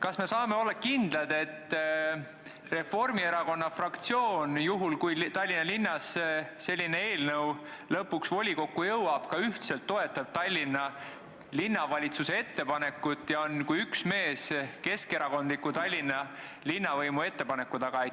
kas me saame olla kindlad, et Reformierakonna fraktsioon, juhul kui Tallinnas selline eelnõu lõpuks volikokku jõuab, ka ühtselt toetab Tallinna Linnavalitsuse ettepanekut ja on kui üks mees keskerakondliku Tallinna linnavõimu ettepaneku taga?